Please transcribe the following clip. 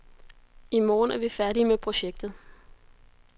I morgen er vi færdige med projektet.